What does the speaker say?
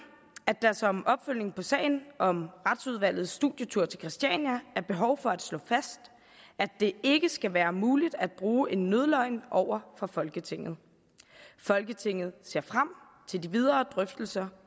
at der som opfølgning på sagen om retsudvalgets studietur til christiania er behov for at slå fast at det ikke skal være muligt at bruge en nødløgn over for folketinget folketinget ser frem til de videre drøftelser